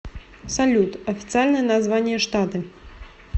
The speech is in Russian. салют официальное название штаты